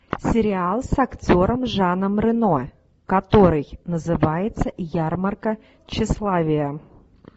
сериал с актером жаном рено который называется ярмарка тщеславия